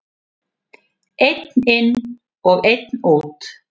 Einn inn og einn út!